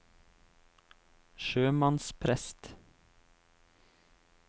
sjømannsprest